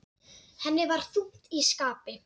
Henni var þungt í skapi.